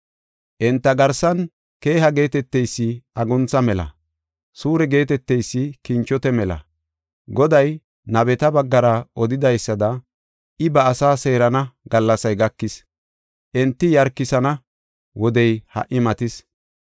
Enta garsan keeha geeteteysi aguntha mela; suure geeteteysi kinchote mela. Goday nabeta baggara odidaysada I ba asaa seerana gallasay gakis; enti yarkana wodey ha77i matis.